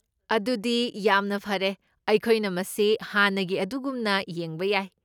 ꯑꯗꯨꯗꯤ ꯌꯥꯝꯅ ꯐꯔꯦ, ꯑꯩꯈꯣꯏꯅ ꯃꯁꯤ ꯍꯥꯟꯅꯒꯤ ꯑꯗꯨꯒꯨꯝꯅ ꯌꯦꯡꯕ ꯌꯥꯏ꯫